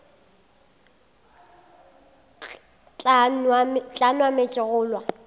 tla nwa meetse wa kgolwa